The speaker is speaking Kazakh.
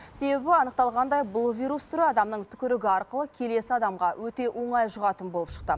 себебі анықталғандай бұл вирус түрі адамның түкірігі арқылы келесі адамға өте оңай жұғатын болып шықты